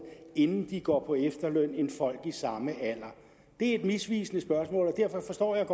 inden de går på efterløn end folk i samme alder det er et misvisende spørgsmål og derfor forstår jeg